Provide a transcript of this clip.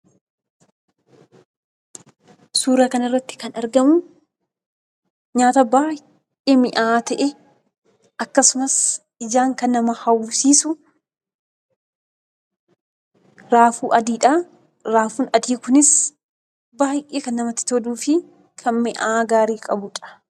Suuraa kanarratti kan argamu nyaata baay'ee mi'aawaa ta'e akkasumas ijaan kan nama hawwisiisu raafuu adiidha. Raafuun adii kunis baay'ee kan namatti toluu fi kan mi'aa gaarii qabudha.